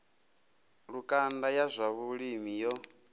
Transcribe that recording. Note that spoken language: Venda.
lukanda ya zwa vhulimi yo